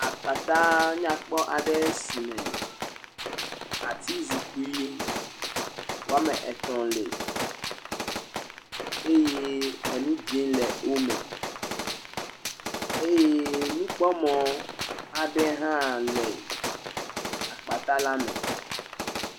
Akpatɛ nyakpɔ aɖe si me atizikpui woame etɔ̃ li eye nu dzɛ̃ le wo me eye nukpɔmɔ aɖe hã le akpatɛ la me.